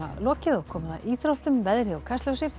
lokið og komið að íþróttum veðri og Kastljósi